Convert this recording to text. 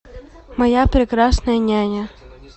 моя прекрасная няня